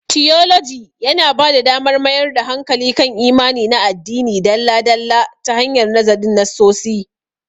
Tiyoloji yana ba da damar mayar da hankali kan imani na addini dalla-dalla ta hanyar nazarin nassosi